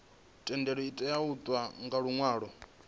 thendelo itea u itwa nga luṅwalo